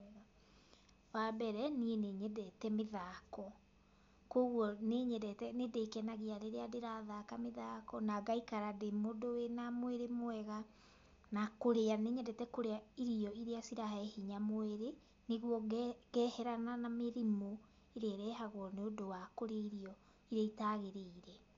Wambere niī nī nyedete mīthako koguo nī nyedete nīndīkenagia rīrīa ndĪrathaka mīthako na ngaikara ndī mūndū wīna mwīrī mwega na kūrīa nī nyedete kūrīa irio irīa cirahe hinya mwīrī nīguo geherana na mī rimū īrīa īrehagwo nīūndū wa kūrīa irio irīa itaagīrīire